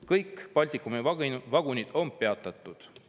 Kõik Baltikumi vagunid on peatatud.